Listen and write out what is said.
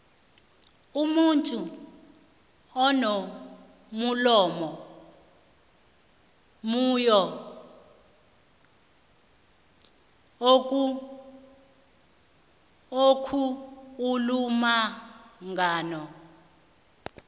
umuntu unomulomo munyo okhuulumangano